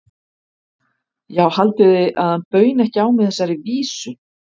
Já, haldið þið að hann bauni ekki á mig þessari vísu?